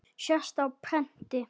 sést á prenti.